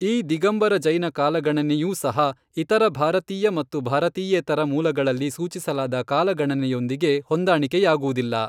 ಈ ದಿಗಂಬರ ಜೈನ ಕಾಲಗಣನೆಯೂ ಸಹ ಇತರ ಭಾರತೀಯ ಮತ್ತು ಭಾರತೀಯೇತರ ಮೂಲಗಳಲ್ಲಿ ಸೂಚಿಸಲಾದ ಕಾಲಗಣನೆಯೊಂದಿಗೆ ಹೊಂದಾಣಿಕೆಯಾಗುವುದಿಲ್ಲ.